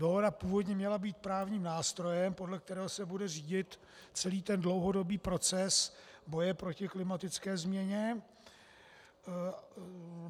Dohoda původně měla být právním nástrojem, podle kterého se bude řídit celý ten dlouhodobý proces boje proti klimatické změně.